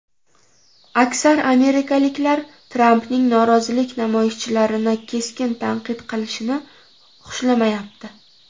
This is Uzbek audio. Aksar amerikaliklar Trampning norozilik namoyishchilarini keskin tanqid qilishini xushlamayapti.